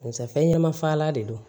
Barisa fɛn ɲɛnama fagalan de don